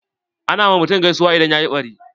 Ana ma mutum gaisuwa idan yayi ɓari.